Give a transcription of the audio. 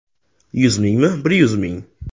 Yuz mingmi, bir yuz ming?